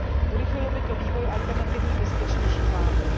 Urychlilo by to vývoj alternativních bezpečnějších látek.